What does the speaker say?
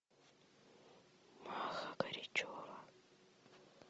маха горячева